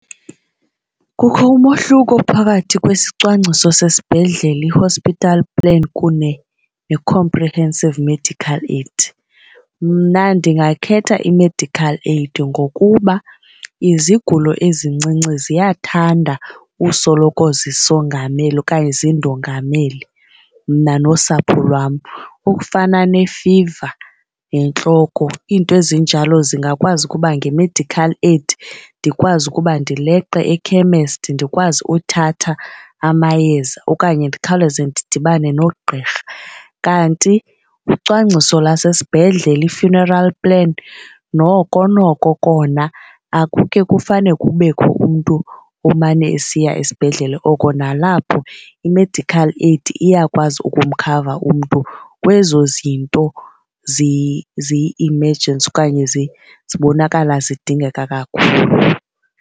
Kukho umohluko phakathi kwesicwangciso sesibhedlele i-hospital plan kunye ne-comprehensive medical aid. Mna ndingakhetha i-medical aid ngokuba izigulo ezincinci ziyathanda usoloko zisongamela okanye zindongamele mna nosapho lwam ukufana nefiva nentloko. Iinto ezinjalo zingakwazi ukuba nge-medical aid ndikwazi ukuba ndileqe ekhemesti ndikwazi ukuthatha amayeza okanye ndikhawuleze ndidibane nogqirha. Kanti ucwangciso lwasesibhedlele i-funeral plan noko noko kona akuke kufanele kubekho umntu omane esiya esibhedlele oko. Nalapho i-medical aid iyakwazi ukumkhava umntu kwezo zinto ziyi-emergency okanye zibonakala zidingeka kakhulu.